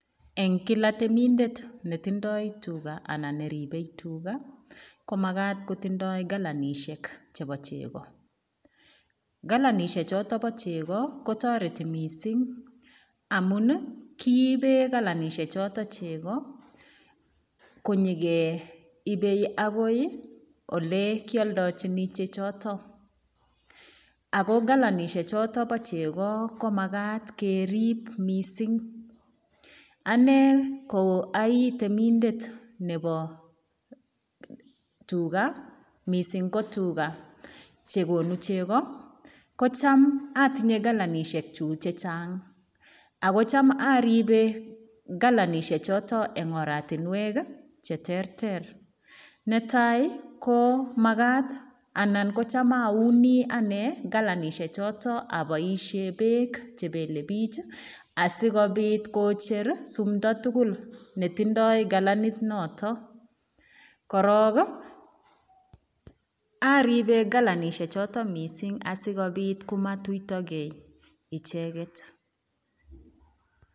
Eng kila temindet ne tindoi tuga anan ne ribei tuga, komakat kotindoi kalanisiek chebo chego, kalanisie choto bo chego kotoreti mising amun ii, kiibe kalanisie choto chego, konyikeibei agoi ii ole kioldochini chechoto, ako kalanisie choto bo chego ko makat kerip mising, ane ko aitemindet nebo tuga, mising ko tuga che konu chego, kocham atinye kalanisiekchuk che chang, ako cham aribe kalanisiechoto eng oratinwek ii che terter, netai ko makat anan kocham auni ane kalanisiechoto aboisie beek che belebich ii, asikobit kocher sumdo tugul ne tindoi kalanit noto, korok ii, aribe kalanisiechoto mising asikobit komatuitokei icheket.